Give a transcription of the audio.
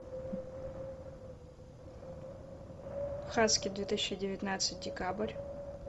хаски две тысячи девятнадцать декабрь